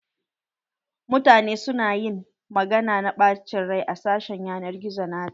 Mutane su na ta ƴin magana na ɓachen rai a sashi na ƴanar gizo na ta.